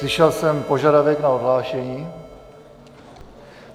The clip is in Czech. Slyšel jsem požadavek na odhlášení.